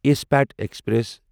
اسپیٹھ express